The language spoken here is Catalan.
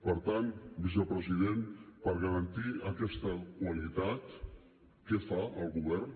per tant vicepresident per garantir aquesta qualitat què fa el govern